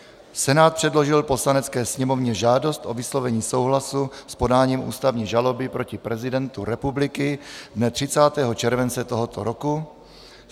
Senát předložil Poslanecké sněmovně žádost o vyslovení souhlasu s podáním ústavní žaloby proti prezidentu republiky dne 30. července tohoto roku.